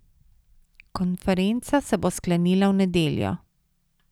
Konferenca se bo sklenila v nedeljo.